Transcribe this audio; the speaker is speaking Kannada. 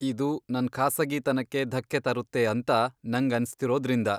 ಇದು ನನ್ ಖಾಸಗಿತನಕ್ಕೆ ಧಕ್ಕೆ ತರುತ್ತೆ ಅಂತ ನಂಗನ್ಸ್ತಿರೋದ್ರಿಂದ.